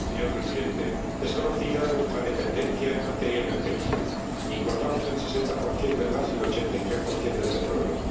Señor Presidente, es conocida nuestra dependencia en materia energética importamos el 60 del gas y el 83 del petróleo